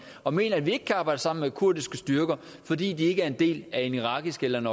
og mener at vi ikke kan arbejde sammen med kurdiske styrker fordi de ikke er en del af en irakisk eller en